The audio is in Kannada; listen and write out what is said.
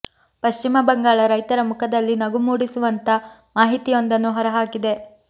ಪಶ್ಚಿಮ ಬಂಗಾಳ ರೈತರ ಮುಖದಲ್ಲಿ ನಗು ಮೂಡಿಸುವಂತಾ ಮಾಹಿತಿಯೊಂದನ್ನು ಹೊರ ಹಾಕಿದೆ